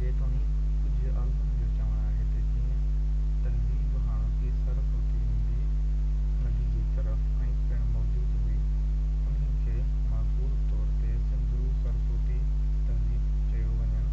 جيتوڻيڪ ڪجهه عالمن جو چوڻ آهي ته جئين تهذيب هاڻوڪي سرسوتي ندي جي ظرف ۾ پڻ موجود هئي انهي کي معقول طور تي سنڌو-سرسوتي تهذيب چيو وڃڻ